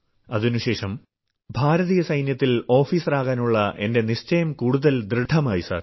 അതിനുശേഷം ഭാരതീയ സൈന്യത്തിൽ ഓഫീസറാകാനുള്ള എന്റെ നിശ്ചയം കൂടുതൽ ദൃഢമായി സർ